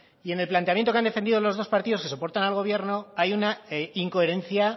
y en el planteamiento que han defendido los dos partidos que soportan al gobierno hay una incoherencia